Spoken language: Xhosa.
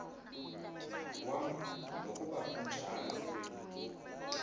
wam nokuba kunjalo